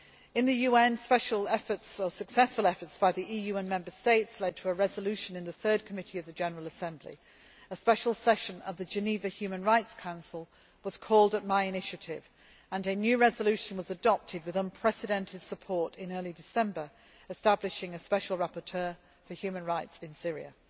In the UN, successful efforts by the EU and Member States led to a resolution in the Third Committee of the General Assembly. A Special Session of the Geneva Human Rights Council was called at my initiative and a new resolution was adopted with unprecedented support in early December, establishing a Special Rapporteur for human rights in Syria.